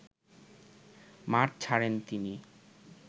মাঠ ছাড়েন তিনি